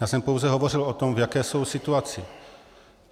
Já jsem pouze hovořil o tom, v jaké jsou situaci.